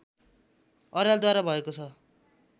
अर्यालद्वारा भएको छ